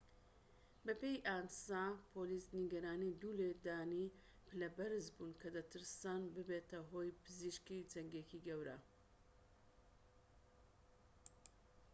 بەپێی ئانسا پۆلیس نیگەرانی دوو لێدانی پلە بەرز بوون کە دەترسان ببێتە هۆی پزیسکی جەنگێكی گەورە